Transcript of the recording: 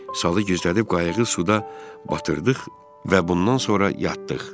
Salı gizlədib qayıqı suda batırdıq və bundan sonra yatdıq.